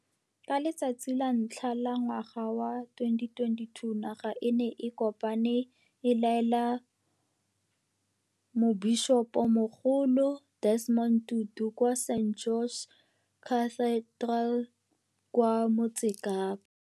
Ka letsatsi la ntlhantlha la ngwaga wa 2022, naga e ne e kopane e laela Mobišopomogolo Desmond Tutu kwa St George's Cathedral kwa Motsekapa.